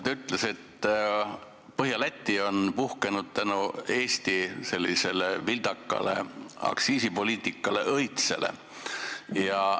Ta ütles, et Põhja-Läti on puhkenud tänu Eesti vildakale aktsiisipoliitikale õitsele.